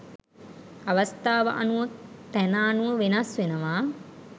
අවස්ථාව අනුව තැන අනුව වෙනස් වෙනවා.